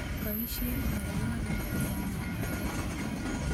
Boisien ng'olyot ni en ng'alalet